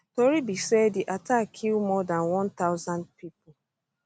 tori be say di attack kill more dan one thousand pipo